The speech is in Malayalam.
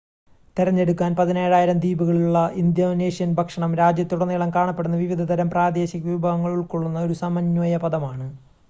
തിരഞ്ഞെടുക്കാൻ 17,000 ദ്വീപുകളുള്ള ഇന്തോനേഷ്യൻ ഭക്ഷണം രാജ്യത്തുടനീളം കാണപ്പെടുന്ന വിവിധതരം പ്രാദേശിക വിഭവങ്ങൾ ഉൾക്കൊള്ളുന്ന ഒരു സമന്വയ പദമാണ്